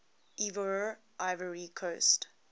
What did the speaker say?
ivoire ivory coast